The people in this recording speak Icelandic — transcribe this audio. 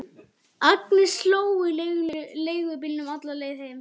Agnes hló í leigubílnum alla leiðina heim.